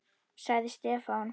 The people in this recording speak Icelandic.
sagði Stefán.